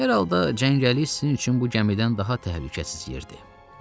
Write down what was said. Hər halda cəngəllik sizin üçün bu gəmidən daha təhlükəsiz yerdir.